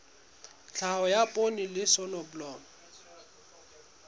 tlhahiso ya poone le soneblomo